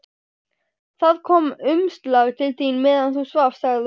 Það kom umslag til þín meðan þú svafst, sagði hún.